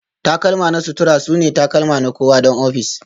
takalma na sutura sune takalma na kowa don ofis